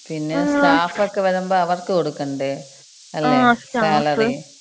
പിന്നെ സ്റ്റാഫക്ക വരുമ്പോ അവർക്ക് കൊടുക്കണ്ടേ? അല്ലെ? ങാ സാലറി